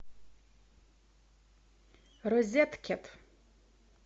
розеткед